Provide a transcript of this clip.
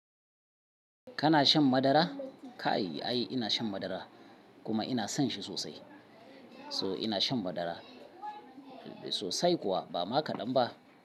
Kana shan madara? Ka yi, a yi, ina shan madara kuma ina son shi sosai. So ina shan madara ba ma kaɗan ba sosai kuwa.